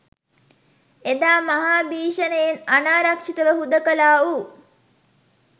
එදා මහා භීෂණයෙන් අනාරක්‍ෂිතව හුදකලා වූ